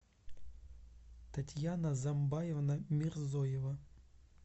татьяна замбаевна мирзоева